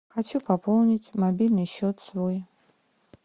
хочу пополнить мобильный счет свой